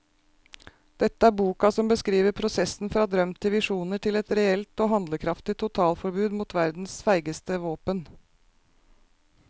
Dette er boka som beskriver prosessen fra drøm til visjoner til et reelt og handlekraftig totalforbud mot verdens feigeste våpen.